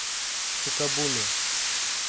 сукабуми